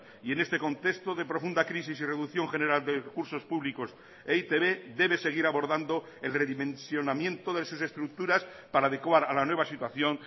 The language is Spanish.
y en este contexto de profunda crisis y reducción general de recursos públicos e i te be debe seguir abordando el redimensionamiento de sus estructuras para adecuar a la nueva situación